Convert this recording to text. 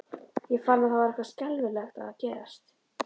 Ég fann að það var eitthvað skelfilegt að gerast.